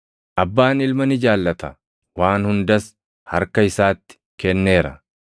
Abbaan Ilma ni jaallata; waan hundas harka isaatti kenneera.